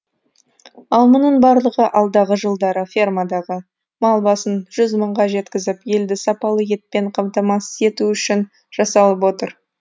ал мұның барлығы алдағы жылдары фермадағы мал басын жүз мыңға жеткізіп елді сапалы етпен қамтамасыз ету үшін жасалып отыр